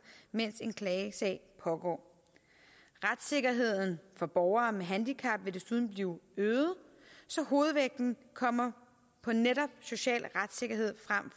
mens en klagesag pågår retssikkerheden for borgere med handicap vil desuden blive øget så hovedvægten kommer på netop social retssikkerhed frem